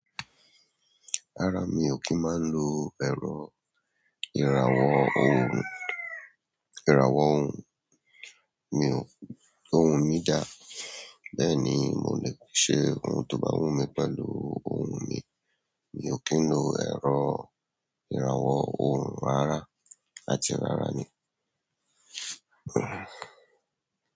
Rárá mi ò kì n máa ń lo ẹ̀rọ ìràwọ̀ ohun, ìràwọ̀ ohun, mi o ohun mi dáa. Bẹ́ẹ̀ ni, mò lẹ́ ṣe ohun tó bá wù mí pẹ̀lú ohun mi. Mi ò kí ń lo ẹ̀rọ ìràwọ̀ ohun rárá, àti rárá ni.